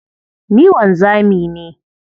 Ni wanzami ne.